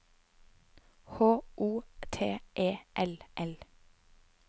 H O T E L L